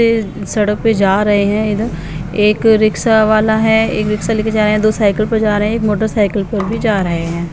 इस सड़क पे जा रहे हैं इधर एक रिक्शा वाला है एक रिक्शा ले के जा रहे हैं दो साइकिल पर जा रहे हैं एक मोटर साइकिल पर भी जा रहे हैं।